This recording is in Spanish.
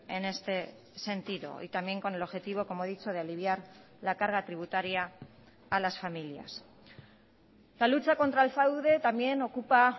en este sentido y también con el objetivo como he dicho de aliviar la carga tributaria a las familias la lucha contra el fraude también ocupa